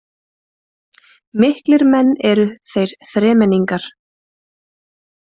Miklir menn eru þeir þremenningar